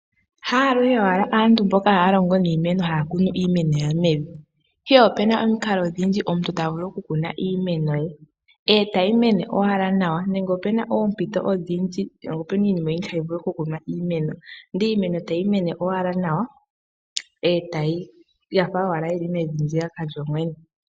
Haaluhe owala aantu mboka haya longo niimeno haya kunu iimeno yawo mevi, ihe opena omikalo odhindji omuntu tavulu oku kuna iimeno ye e tayi mene owala nawa. Nenge opena oompito odhindji nenge opena iinima oyindji hayi vulu oku kunwa iimeno. Ndele iimeno tayi mene owala nawa e tayi, yafa owala yili mevi ndiyaka lyoyene.